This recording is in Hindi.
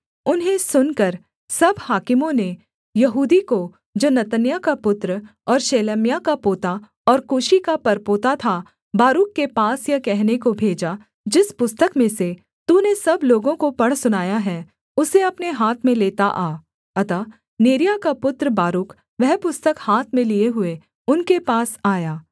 उन्हें सुनकर सब हाकिमों ने यहूदी को जो नतन्याह का पुत्र ओर शेलेम्याह का पोता और कूशी का परपोता था बारूक के पास यह कहने को भेजा जिस पुस्तक में से तूने सब लोगों को पढ़ सुनाया है उसे अपने हाथ में लेता आ अतः नेरिय्याह का पुत्र बारूक वह पुस्तक हाथ में लिए हुए उनके पास आया